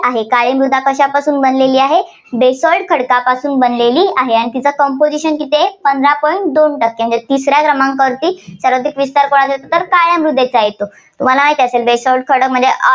काळी मृदा कशापासून बनलेली आहे, basalt खडकापासून बनलेली आहे आणि तिचं composition किती आहे, पंधार point दोन टक्के. तिसऱ्या क्रमांकावरती विस्तार कुणाचा तर काळ्या मृदेचा येतो. तुम्हाला माहितेय basalt खडक म्हणजे